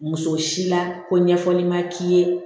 Muso si la ko ɲɛfɔli ma k'i ye